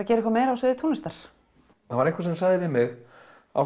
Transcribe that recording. gera eitthvað meira á sviði tónlistar það var einhver sem sagði við mig af